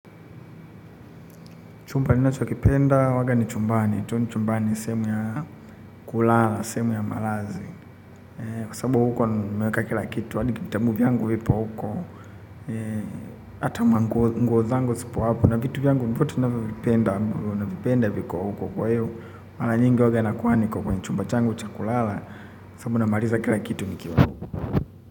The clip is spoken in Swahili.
Chumba ninachokipenda huwanga ni chumbani. Tu ni chumbani sehemu ya kulala, sehemu ya malazi. Kwa sababu huko nimeweka kila kitu. Hadi vitabu vyangu vipo huko. Ata manguo zangu sipo hapo. Na vitu vyangu vyote navyovipenda bro navipenda viko huko kwa hivo. Mara nyingi huwanga nakuwa niko kwa chumba changu cha kulala. Sabubu namaliza kila kitu nikiwa.